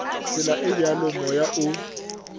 tsela e bjalo moya o